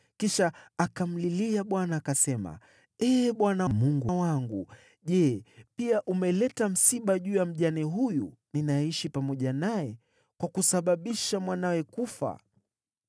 Kisha akamlilia Bwana , akasema “Ee Bwana Mungu wangu, je, pia umeleta msiba juu ya mjane huyu ninayeishi pamoja naye, kwa kusababisha mwanawe kufa?”